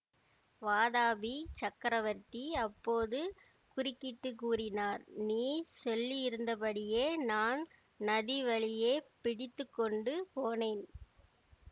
வாதாபி சக்கரவர்த்தி அப்போது குறுக்கிட்டு கூறினார் நீ சொல்லியிருந்தபடியே நான் நதி வழியேப் பிடித்து கொண்டு போனேன்